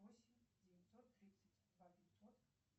восемь девятьсот тридцать два пятьсот